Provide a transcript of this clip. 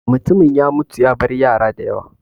Mutumin ya mutu ya bar yara da yawa.